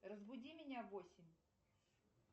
разбуди меня в восемь